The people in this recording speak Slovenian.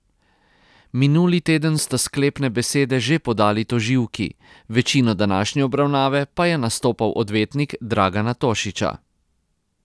Minuli teden sta sklepne besede že podali tožilki, večino današnje obravnave pa je nastopal odvetnik Dragana Tošića.